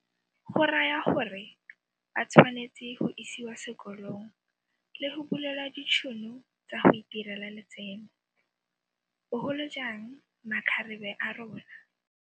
Go raya gore ba tshwanetse go isiwa sekolong le go bulelwa ditšhono tsa go itirela letseno, bogolojang makgarebe a rona.